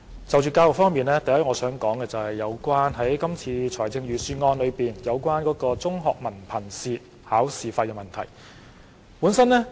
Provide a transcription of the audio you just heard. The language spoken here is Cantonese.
就教育方面，首先我想談論今次財政預算案代繳中學文憑試考試費的措施。